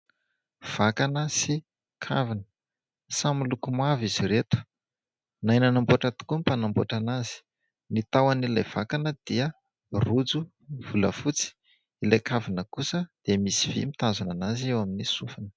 Vakana sy kavina, samy miloko mavo izy reto. Nahay nanamboatra tokoa ny mpanamboatra an'azy. Ny tahon'ilay vakana dia rojo volafotsy, ilay kavina kosa dia misy vy mitazona an'azy eo amin'ny sofiny.